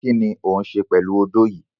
Kini o n ṣe pẹlu ódó yii?